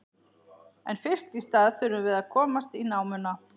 En fyrst í stað þurfum við að komast í námuna.